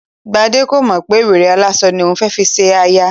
Gbadé kò mọ̀ pé wèrè aláṣọ ni òun fẹ́ fi ṣe aya